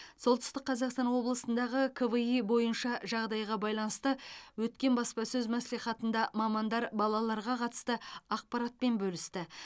солтүстік қазақстан облысындағы кви бойынша жағдайға байланысты өткен баспасөз мәслихатында мамандар балаларға қатысты ақпаратпен бөлісті